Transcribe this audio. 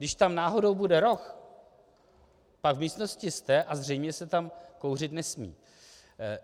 Když tam náhodou bude roh, pak v místnosti jste a zřejmě se tam kouřit nesmí.